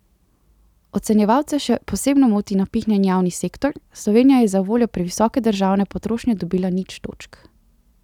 Ocenjevalce še posebno moti napihnjen javni sektor, Slovenija je zavoljo previsoke državne potrošnje dobila nič točk.